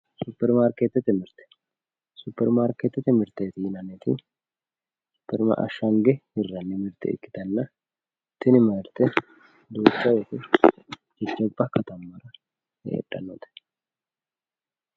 superimaarkeetete mirte superimaarkeetete mirteeti yinanniti ashshange hirranni mirte ikkitanna tini marte duucha wote gobba katammara heedhannote.